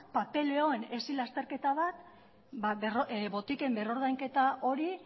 papeleoan hesi lasterketa bat botiken berrordainketa hori